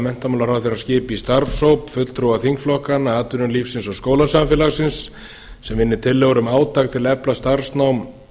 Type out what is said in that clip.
menntamálaráðherra að skipa í starfshóp fulltrúa þingflokkanna atvinnulífsins og skólasamfélagsins sem vinni tillögur um átak til að efla starfsnám